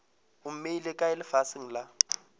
o mmeile kae lefaseng la